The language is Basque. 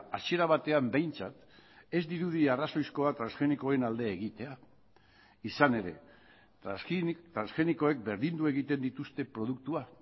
hasiera batean behintzat ez dirudi arrazoizkoa transgenikoen alde egitea izan ere transgenikoek berdindu egiten dituzte produktua